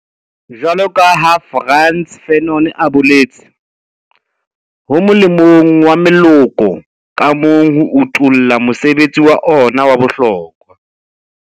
Jwaloka ha Frantz Fanon a boletse, ho molemong wa moloko ka mong ho utolla mosebetsi wa ona wa bohlokwa.